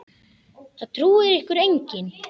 Það trúir ykkur enginn!